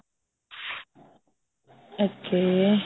okay